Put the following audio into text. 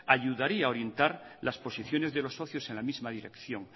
ayudaría a orientar las posiciones de los socios en la misma dirección